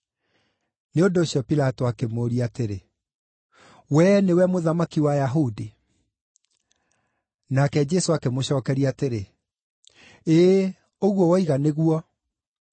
Nĩ ũndũ ũcio Pilato akĩmũũria atĩrĩ, “Wee nĩwe mũthamaki wa Ayahudi?” Nake Jesũ akĩmũcookeria atĩrĩ, “Ĩĩ, ũguo woiga nĩguo.”